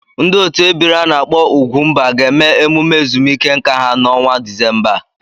Ndị otu ebiri a na-akpo ugwumba ga-eme emume ezumike nka ha n'ọnwa Disemba a.